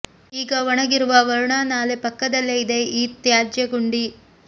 ಈಗ ಒಣಗಿರುವ ವರುಣಾ ನಾಲೆ ಪಕ್ಕದಲ್ಲೇ ಇದೆ ಈ ತ್ಯಾಜ್ಯ ಗುಂಡಿ